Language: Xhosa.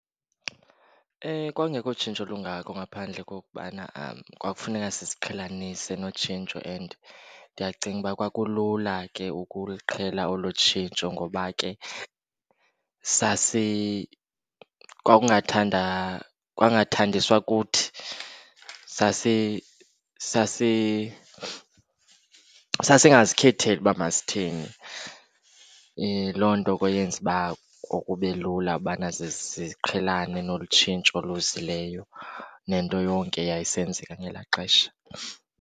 Kwakungekho tshintsho lungako ngaphandle kokubana kwakufuneka siziqhelanise notshintsho. And ndiyacinga uba kulula ke ukuluqhela olo tshintsho ngoba ke kwangathandiswa kuthi sasingazikhetheli uba masithini. Loo nto eyenza uba kube lula ubana siqhelanise nolu tshintsho luzileyo nento yonke eyayisenzeka ngelaa xesha.